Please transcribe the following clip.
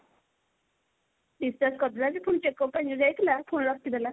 discharge କରିଦେଲା ଯେ ପୁଣି checkup ପାଇଁ ଯଉ ଯାଇଥିଲା ପୁଣି ରଖିଦେଲା।